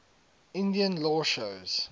indian law shows